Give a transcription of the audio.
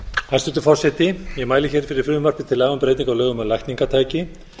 hæstvirtur forseti ég mæli hér fyrir frumvarpi til laga um breytingu á lögum um lækningatæki